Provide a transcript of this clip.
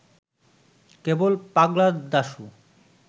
কেবল ‘Pagla Dashu’